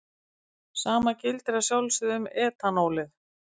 Sama gildir að sjálfsögðu um etanólið.